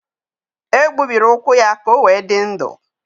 E gbubiri ụkwụ ya ka o wee dị ndụ.